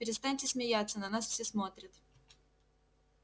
перестаньте смеяться на нас все смотрят